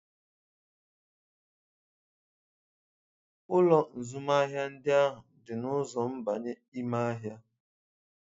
Ụlọ azụmahịa ndị ahụ dị na ụzọ mbanye ime ahịa.